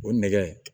O nɛgɛ